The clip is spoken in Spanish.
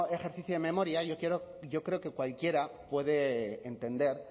ejercicio de memoria yo creo que cualquiera puede entender